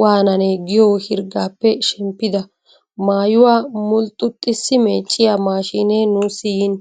waananee giyo hirggaappe shemppida. Mayyuwa mulxxuxxissi meecciya maashshine nuussi yin.